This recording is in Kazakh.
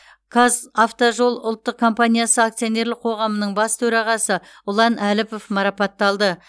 қазавтожол ұлттық компаниясы акционерлік қоғамының бас төрағасы ұлан әліпов марапатталды